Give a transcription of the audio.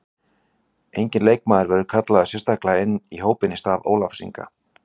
Enginn leikmaður verður kallaður sérstaklega inn í hópinn í stað Ólafs Inga.